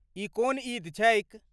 ई कोन ईद छैक?